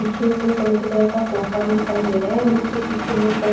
पीछे कोई चॉकलेटी कलर का सोफा भी दिखाई दे रहे हैं जिसके पीछे बहोत सारी--